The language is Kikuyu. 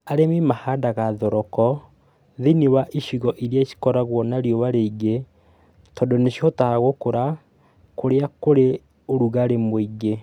Arĩmi mahandaga thoroko thĩiniĩ wa icigo irĩa cikoragwo na riũa rĩingĩ tondũ nĩ cihotaga gũkũra kũrĩa kwĩ ũrugarĩ mũingĩ.